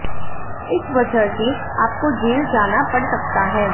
इस वजह से आपको जेल जाना पड़ सकता है